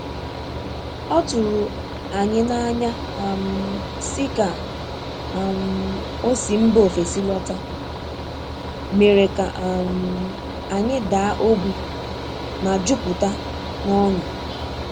Oturu anyi na anya um si ka um osi mba ofesi lọta, mere ka um anyị daa ogbi ma jupụta n'ọṅụ.